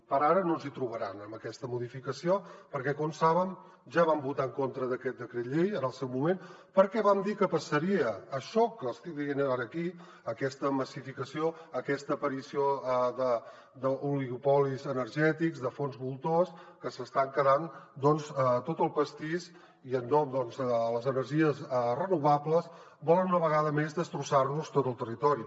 per ara no ens hi trobaran amb aquesta modificació perquè com saben ja vam votar en contra d’aquest decret llei en el seu moment perquè vam dir que passaria això que els estic dient ara aquí aquesta massificació aquesta aparició d’oligopolis energètics de fons voltors que s’estan quedant tot el pastís i en nom de les energies renovables volen una vegada més destrossar nos tot el territori